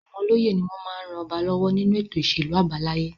Àwọn olóyè ni wọ́n máa ń ran ọba lọ́wọ́ nínú ètò ìṣèlú àbáláyé.